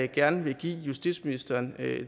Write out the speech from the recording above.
gerne vil give justitsministeren